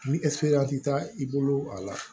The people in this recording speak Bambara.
Ni ti taa i bolo a la